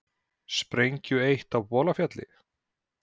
Sprengju eytt á Bolafjalli